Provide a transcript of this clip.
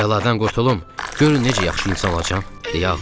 Bu bəladan qurtulum, görün necə yaxşı insan olacam?